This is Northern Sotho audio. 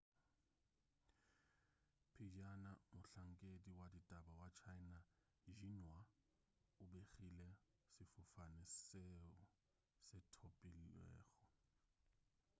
pejana mohlankedi wa ditaba wa china xinhua o begile sefofane seo se thopilwego